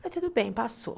Mas tudo bem, passou.